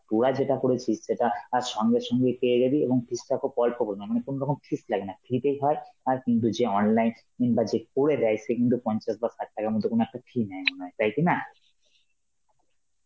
তোরা যেটা করেছিস সেটা আর সঙ্গে সঙ্গে পেয়ে যাবি, এবং fees তাকেও মানে কোনরকম fees লাগেনা, free তেই হয় আর কিন্তু যে online কিম্বা যে করে দেয় সে কিন্তু পঞ্চাশ বা ষাট টাকার মতন কোন একটা fee নেয়, তাই কিনা?